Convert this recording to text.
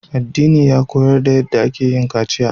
Addina ya koyar da yace akeyin kaciya